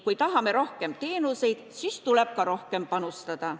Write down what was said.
Kui tahame rohkem teenuseid, siis tuleb ka rohkem panustada.